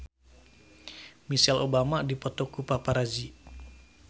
Michelle Obama dipoto ku paparazi